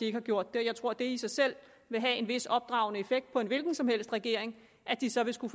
ikke har gjort det jeg tror at det i sig selv vil have en vis opdragende effekt på en hvilken som helst regering at den så vil skulle